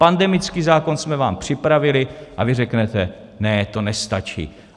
Pandemický zákon jsme vám připravili a vy řeknete: Ne, to nestačí.